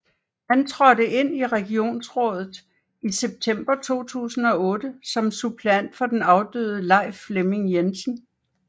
Han trådte ind i regionsrådet i september 2008 som suppleant for den afdøde Leif Flemming Jensen